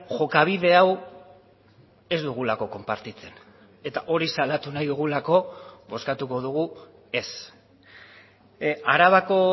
jokabide hau ez dugulako konpartitzen eta hori salatu nahi dugulako bozkatuko dugu ez arabako